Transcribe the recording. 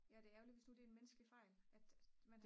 ja det er ærgerligt hvis nu det er en menneskelig fejl at